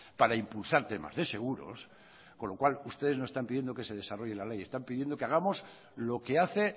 para impulsar temas de seguros con lo cual ustedes no están pidiendo que se desarrolle la ley están pidiendo que hagamos lo que hace